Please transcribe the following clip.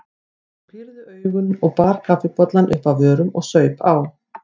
Ég pírði augun og bar kaffibollann upp að vörunum og saup á.